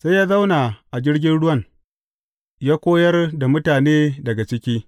Sai ya zauna a jirgin ruwan, ya koyar da mutane daga ciki.